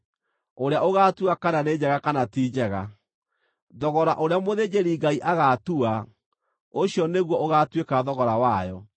ũrĩa ũgaatua kana nĩ njega kana ti njega. Thogora ũrĩa mũthĩnjĩri-Ngai agaatua, ũcio nĩguo ũgaatuĩka thogora wayo.